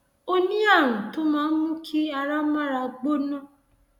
o ní ààrùn tó máa ń mú kí ara mára gbóná